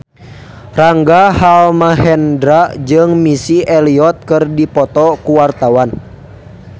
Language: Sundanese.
Rangga Almahendra jeung Missy Elliott keur dipoto ku wartawan